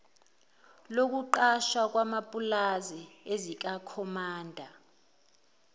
lokuqashwa kwamapulazi ezikakhomanda